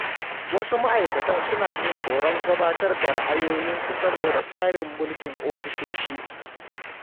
Wasu ma’aikatan suna jin tsoron gabatar da ra’ayoyinsu saboda tsarin mulkin ofisoshi.